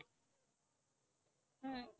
হম